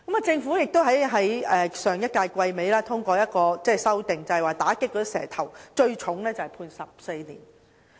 政府亦在上一屆立法會會期末通過一項修訂，就是打擊"蛇頭"，最重判罰監禁14年。